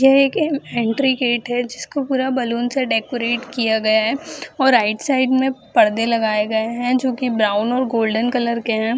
यह एक entry gate है जिसको पूरा बलून से डेकोरेट किया गया है और राइट साइड में परदे लगाए गए है जो की ब्राउन और गोल्डन कलर के है ।